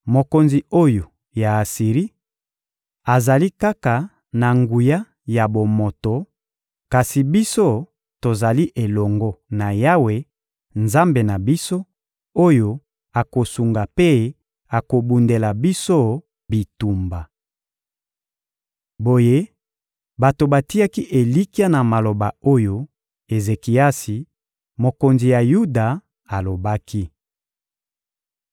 Mokonzi oyo ya Asiri azali kaka na nguya ya bomoto; kasi biso, tozali elongo na Yawe, Nzambe na biso, oyo akosunga mpe akobundela biso bitumba. Boye bato batiaki elikya na maloba oyo Ezekiasi, mokonzi ya Yuda, alobaki. (2Ba 18.17-35; Ez 36.2-22)